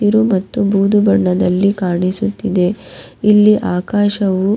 ಬೂದು ಬಣ್ಣದಲ್ಲಿ ಕಾಣಿಸುತ್ತಿದೆ ಇಲ್ಲಿ ಆಕಾಶವು.